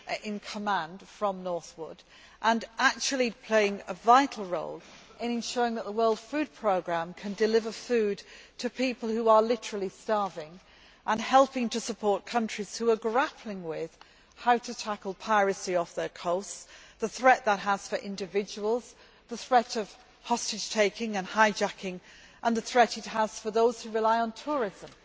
in command from Northwood and actually playing a vital role in ensuring that the World Food Programme can deliver food to people who are literally starving, and helping to support countries which are grappling with how to tackle piracy off their coasts, the threat that poses for individuals, the threat of hostage taking and hijacking, and the threat for those who rely on tourism.